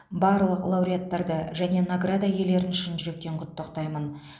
барлық лауреаттарды және награда иелерін шын жүректен құттықтаймын